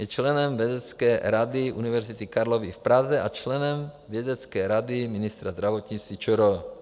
Je členem vědecké rady Univerzity Karlovy v Praze a členem vědecké rady ministra zdravotnictví ČR.